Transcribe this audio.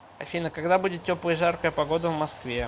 афина когда будет теплая и жаркая погода в москве